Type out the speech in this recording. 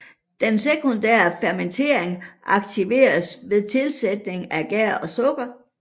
Den sekundære fermentering aktiveres ved tilsætning af gær og sukker